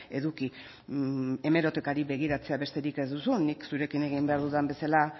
eduki hemerotekari begiratzea besterik ez duzu nik zurekin egin behar dudan bezala